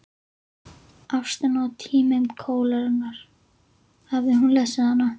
Ástin á tímum kólerunnar, hafði hún lesið hana?